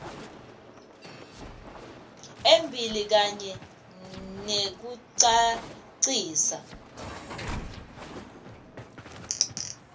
embili kanye nekucacisa